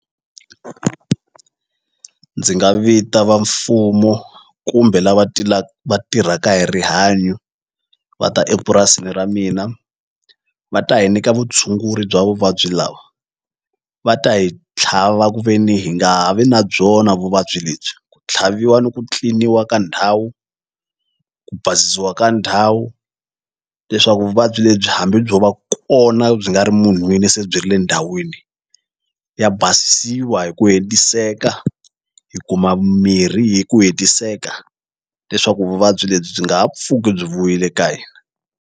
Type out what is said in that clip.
Ndzi nga vita va mfumo kumbe lava va tirhaka hi rihanyo va ta epurasini ra mina va ta hi nyika vutshunguri bya vuvabyi lawa va ta hi tlhava ku ve ni hi nga ha vi na byona vuvabyi lebyi ku tlhaviwa ni ku clean-iwa ka ndhawu ku basisiwa ka ndhawu leswaku vuvabyi lebyi hambi byo va kona byi nga ri munhwini se byi ri le ndhawini ya basisiwa hi ku hetiseka hi kuma mirhi hi ku hetiseka leswaku vuvabyi lebyi byi nga ha pfuki byi vuyile ka hina.